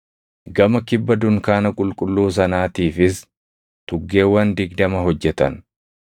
Gama kibba dunkaana qulqulluu sanaatiifis tuggeewwan digdama hojjetan;